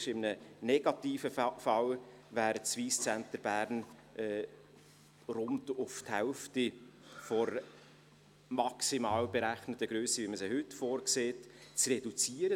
In einem negativen Fall wäre das Wyss Centre Bern rund auf die Hälfte der maximal berechneten Grösse, wie wir sie heute vorsehen, zu reduzieren.